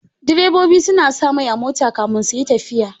Direbobi sa na sa mai a mota kamin suyi tafiya